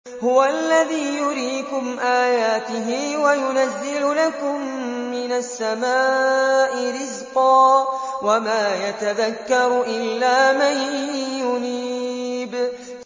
هُوَ الَّذِي يُرِيكُمْ آيَاتِهِ وَيُنَزِّلُ لَكُم مِّنَ السَّمَاءِ رِزْقًا ۚ وَمَا يَتَذَكَّرُ إِلَّا مَن يُنِيبُ